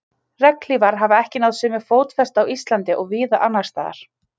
Regnhlífar hafa ekki náð sömu fótfestu á Íslandi og víða annars staðar.